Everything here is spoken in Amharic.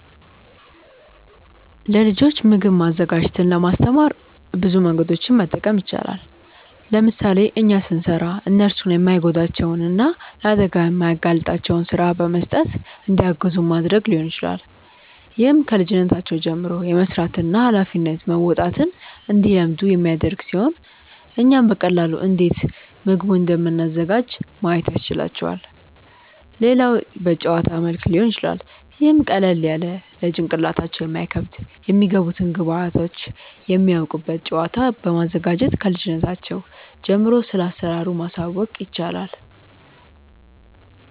ለልጆች ምግብ ማዘጋጀትን ለማስተማር ብዙ መንገዶችን መጠቀም ይቻላል። ለምሳሌ እኛ ስንሰራ እነርሱን የማይጎዳቸውን እና ለአደጋ የማያጋልጣቸውን ስራ በመስጠት እንዲያግዙን ማድረግ ሊሆን ይችላል። ይህም ከልጅነታቸው ጀምሮ የመስራትን እና ሃላፊነት መወጣትን እንዲለምዱ የሚያደርግ ሲሆን እኛም በቀላሉ እንዴት ምግቡን እንደምናዘጋጅ ማየት ያስችላቸዋል። ሌላው በጨዋታ መልክ ሊሆን ይችላል ይህም ቀለል ያለ ለጭንቅላታቸው የማይከብድ የሚገቡትን ግብዐቶች የሚያውቁበት ጨዋታ በማዘጋጀት ክልጅነታቸው ጀምሮ ስለአሰራሩ ማሳወቅ ይቻላል።